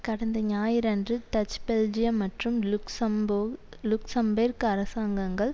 கடந்த ஞாயிறன்று Dutch Belgium மற்றும் லுக்சம்போ லுக்சம்பேர்க் அரசாங்கங்கள்